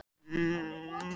Opið í gegn